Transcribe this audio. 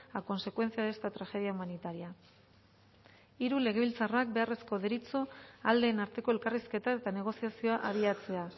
a consecuencia de esta tragedia humanitaria hiru legebiltzarrak beharrezko deritzo aldeen arteko elkarrizketa eta negoziazioa abiatzea